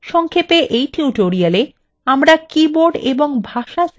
সংক্ষেপে এই tutoriala